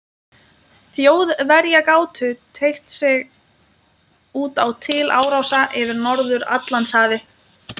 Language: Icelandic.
Þjóðverja gátu teygt sig út á til árása yfir Norður-Atlantshafi.